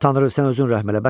Tanrı, sən özün rəhm elə.